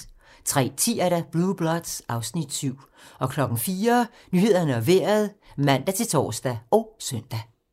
03:10: Blue Bloods (Afs. 7) 04:00: Nyhederne og Vejret (man-tor og søn)